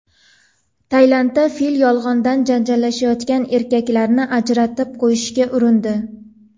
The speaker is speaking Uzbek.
Tailandda fil yolg‘ondan janjallashayotgan erkaklarni ajratib qo‘yishga urindi .